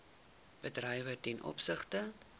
bedrywe ten opsigte